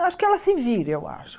Acho que ela se vira, eu acho.